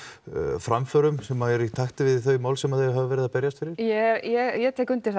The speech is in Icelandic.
framförum sem eru í takti við þau mál sem þau hafa verið að berjast fyrir ég tek undir það